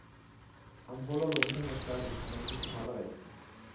Han holder lommepenger selv, mens de betaler reisen.